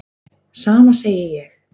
Sama segi ég.